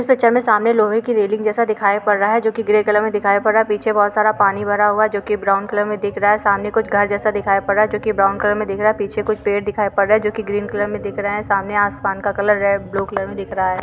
इस पिक्चर में सामने लोहे की रेलिंग जैसा दिखाई पड़ रहा है जो कि ग्रे कलर में दिखाई पड़ रहा है पीछे बहुत सारा पानी भरा हुआ है जो कि ब्राउन कलर में दिख रहा है सामने कुछ घर जैसा दिखाई पड़ रहा है जो कि ब्राउन कलर में दिख रहा है पीछे कुछ पेड़ दिखाई पड़ रहा है जो कि ग्रीन कलर में दिख रहा है सामने आसमान का कलर रेड -ब्लू कलर में दिख रहा है।